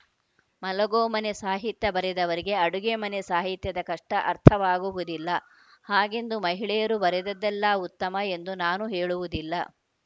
ಮಲಗೊ ಮನೆ ಸಾಹಿತ್ಯ ಬರೆದವರಿಗೆ ಅಡುಗೆ ಮನೆ ಸಾಹಿತ್ಯದ ಕಷ್ಟಅರ್ಥವಾಗುವುದಿಲ್ಲ ಹಾಗೆಂದು ಮಹಿಳೆಯರು ಬರೆದದ್ದೆಲ್ಲ ಉತ್ತಮ ಎಂದು ನಾನು ಹೇಳುವುದಿಲ್ಲ